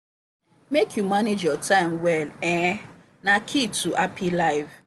make you manage your time well um na key to happy life.